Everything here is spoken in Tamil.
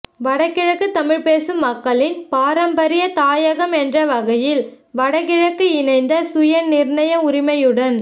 வடக்குக்கிழக்கு தமிழ் பேசும் மக்களின் பாரம்பரிய தாயகம் என்ற வகையில் வடக்குக்கிழக்கு இணைந்த சுய நிர்ணய உரிமையுடன்